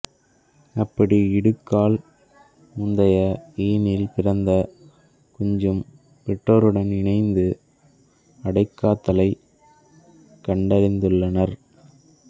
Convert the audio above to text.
அப்படி இடுங்கால் முந்தைய ஈணில் பிறந்த குஞ்சும் பெற்றோருடன் இணைந்து அடைகாத்தலை கண்டறிந்துள்ளனர்